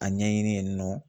A ɲɛɲini yen nɔ